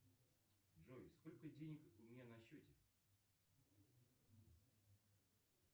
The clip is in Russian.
джой сколько денег у меня на счете